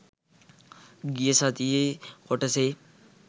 ගිය සතියේ කොටසේ